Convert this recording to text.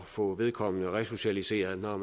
få vedkommende resocialiseret når